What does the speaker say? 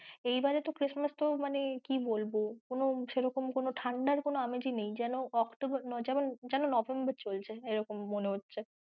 এইবারে তো christmass তো মানে কী বলবো কোনো সেরকম কোনো ঠাণ্ডার কোনো আমেজি নেই যেন October যেন November চলছে এরকম মনে হচ্ছে।